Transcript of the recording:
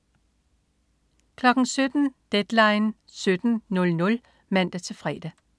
17.00 Deadline 17:00 (man-fre)